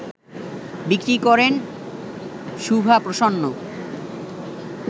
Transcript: বিক্রি করেন শুভা প্রসন্ন